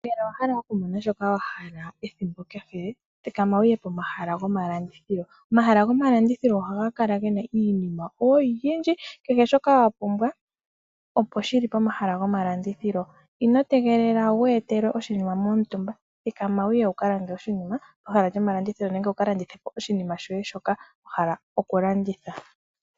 Ngele owa hala okumona shoka wahala ethimbo kehe, thikama wu ye komahala gomalandithilo. Omahala gomalandithilo oha gakala gena iinima oyindji, kehe shoka wapumbwa opo shili pomahala ngoka. Ino tegelela wu etelewe oshinima momutumba thikama wu kalande oshinima shoye nenge wukalandithe oshinima shoye shoka wahala oku landitha.